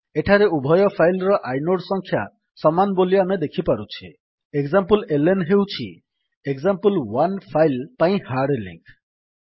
ଏଠାରେ ଉଭୟ ଫାଇଲ୍ ର ଆଇନୋଡ୍ ସଂଖ୍ୟା ସମାନ ବୋଲି ଆମେ ଦେଖିପାରୁଛେ ଏକ୍ସାମ୍ପଲେଲ୍ନ ହେଉଛି ଏକ୍ସାମ୍ପଲ1 ଫାଇଲ୍ ପାଇଁ ହାର୍ଡ୍ ଲିଙ୍କ୍